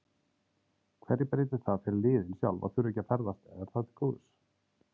Hverju breytir það fyrir liðin sjálf að þurfa ekki að ferðast, er það til góðs?